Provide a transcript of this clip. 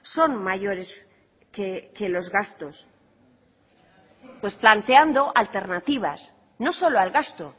son mayores que los gastos pues planteando alternativas no solo al gasto